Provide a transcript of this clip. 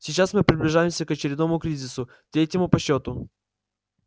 сейчас мы приближаемся к очередному кризису третьему по счёту